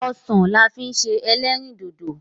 Osan la fi n se elerindodo